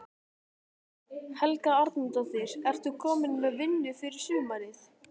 Helga Arnardóttir: Ert þú komin með vinnu fyrir sumarið?